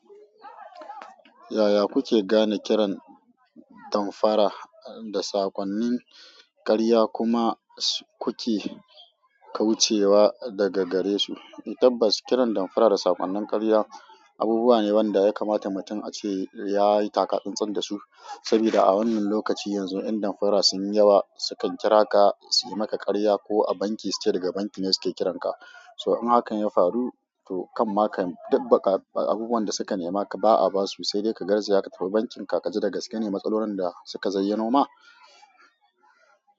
Yaya kuke gane kiran damfara da saƙonnin ƙarya kuma kuke kaucewa daga gare su? Tabbas kiran damfara da sakonnin ƙarya abubuwa ne waɗanda ya kamata mutum a ce ya yi taka tsantsan da su. Saboda a wannan lokacin yanzu inda damfara sun yi yawa, su kan kira ka su yi maka ƙarya ko a banki suke daga banki ne suke kiran ka. So in hakan ya faru, to kan maka abubuwan da suka nema ka ba a basu. Sai dai ka garzaya ka tafi bankin ka ka ji da gaske ne matsalolin da suka zayyano ma.